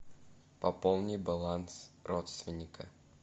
пополни баланс родственника